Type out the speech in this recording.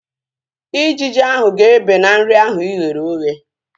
Ijiji ahu ga-ebe na nri ahu ighere oghe